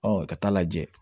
ka taa lajɛ